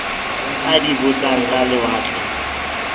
a di botsang ka lewatle